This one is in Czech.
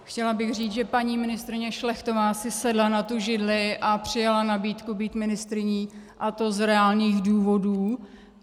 Chtěla bych říct, že paní ministryně Šlechtová si sedla na tu židli a přijala nabídku být ministryní, a to z reálných důvodů.